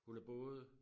Hun er både